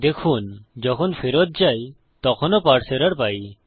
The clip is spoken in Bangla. দেখুন যখন ফেরত যাই তখনও পারসে এরর পাই